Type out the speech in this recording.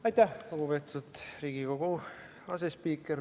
Aitäh, lugupeetud Riigikogu asespiiker!